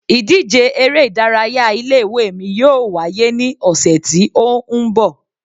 Ìdíje eré ìdárayá ilé ìwé mi yóò wá yé ní ọ̀sẹ̀ ti ó ń bọ̀.